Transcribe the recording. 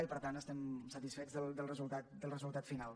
i per tant estem satisfets del resultat final